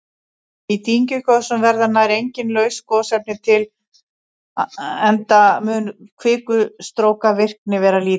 Í dyngjugosum verða nær engin laus gosefni til enda mun kvikustrókavirkni vera lítil.